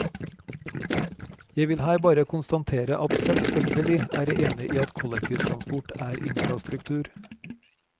Jeg vil her bare konstatere at selvfølgelig er jeg enig i at kollektivtransport er infrastruktur.